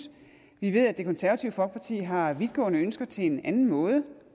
vi ved at det konservative folkeparti har vidtgående ønsker til en anden måde